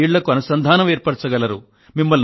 ఆ పది ఇళ్ళకు అనుసంధానం ఏర్పరచండి